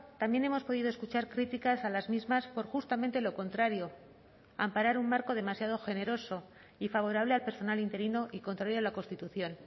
también hemos podido escuchar críticas a las mismas por justamente lo contrario amparar un marco demasiado generoso y favorable al personal interino y contrario a la constitución